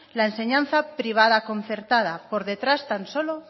la enseñanza privada concertada por detrás tan solo